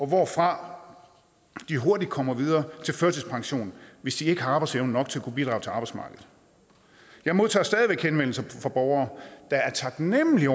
hvorfra de hurtigt kommer videre til førtidspensionen hvis de ikke har arbejdsevne nok til at kunne bidrage til arbejdsmarkedet jeg modtager stadig væk henvendelser fra borgere der er taknemlige